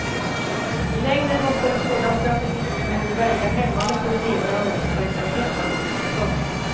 I längden måste en sådan strategi verka hämmande på den egna ungdomsverksamheten. punkt